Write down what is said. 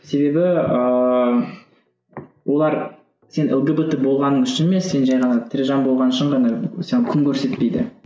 себебі ыыы олар сен лгбт болғаның үшін емес сен жай ғана тірі жан болғаның үшін ғана сен күн көрсетпейді